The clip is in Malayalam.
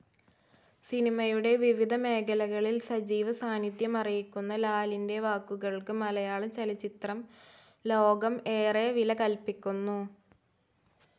സിനിമയുടെ വിവിധ മേഖലകളിൽ സജീവ സാനിദ്ധ്യമറിയിക്കുന്ന ലാലിൻ്റെ വാക്കുകൾക്ക് മലയാളചലച്ചിത്രം ലോകം ഏറെ വില കൽപ്പിക്കുന്നു.